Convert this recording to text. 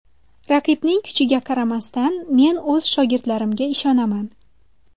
Raqibning kuchiga qaramasdan, men o‘z shogirdlarimga ishonaman.